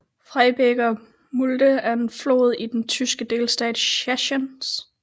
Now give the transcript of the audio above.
Freiberger Mulde er en flod i den tyske delstat Sachsen